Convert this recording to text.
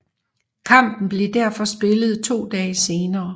Kampen blev derfor spillet to dage senere